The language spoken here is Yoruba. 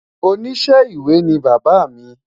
oníṣe ìwé ni bàbá mí